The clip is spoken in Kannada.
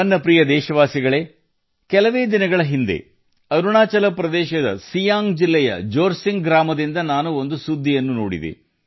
ನನ್ನ ಪ್ರೀತಿಯ ದೇಶವಾಸಿಗಳೇ ಕೆಲವೇ ದಿನಗಳ ಹಿಂದೆ ಅರುಣಾಚಲ ಪ್ರದೇಶದ ಸಿಯಾಂಗ್ ಜಿಲ್ಲೆಯ ಜೋರ್ಸಿಂಗ್ ಗ್ರಾಮದ ಸುದ್ದಿ ನಾನು ನೋಡಿದೆ